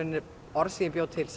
orð sem ég bjó til